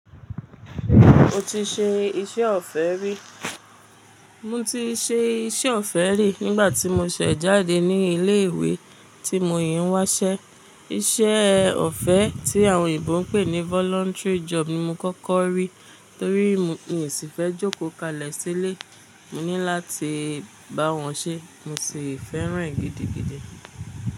Mo ti ṣe iṣẹ́ ọ̀fẹ́ rí. Mo ti ṣe iṣẹ́ ọ̀fẹ́ rí nígbà tí mo ṣẹ̀ jáde ní ilé ìwé tí mo yìí ń wásẹ́. Iṣẹ́ ọ̀fẹ́ tí àwọn òyìnbó ń pè ní voluntary job ni mo kọ́kọ́ rí. Torí mo, mi i sì fẹ́ jókòó kalẹ̀ sílé. Mo ní láti bá wọn ṣé, mo sì fẹ́ràn é gidigidi.